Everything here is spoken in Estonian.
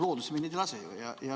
Loodusesse me neid ei lase ju.